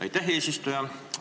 Aitäh, eesistuja!